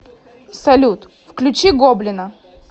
салют включи гоблина